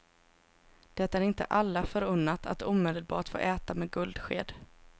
Det är inte alla förunnat att omedelbart få äta med guldsked.